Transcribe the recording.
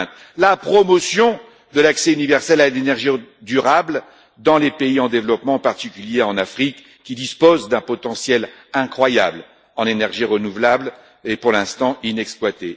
2020 La promotion de l'accès universel à l'énergie durable dans les pays en développement, en particulier en Afrique, qui dispose d'un potentiel incroyable en énergies renouvelables, pour l'instant inexploité